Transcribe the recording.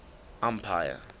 empire